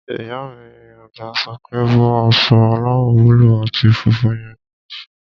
Ìyá mi àgbà sọ pé "bọ́ aṣọ aláwọ̀ búúlù àti funfun yẹn níìsín!"